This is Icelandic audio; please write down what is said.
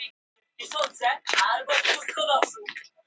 Fannst þér þið skapa næg tækifæri til að geta skorað mörk?